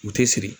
U tɛ siri